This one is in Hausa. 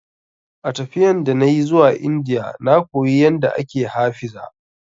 A tafiyan da nayi zuwa Indiya na koyi yanda ake ha fiza